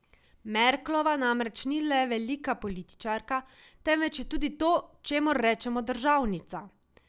Merklova namreč ni le velika političarka, temveč je tudi to, čemur rečemo državnica.